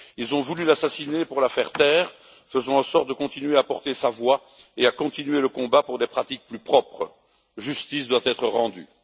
Ils ont voulu l'assassiner pour la faire taire, faisons en sorte de continuer à porter sa voix et à continuer le combat pour des pratiques plus propres. Justice doit être rendue.